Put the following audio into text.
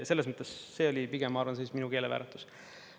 Selles mõttes see oli pigem, ma arvan, minu keelevääratus.